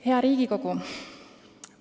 Hea Riigikogu!